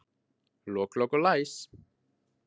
Lok, lok og læs.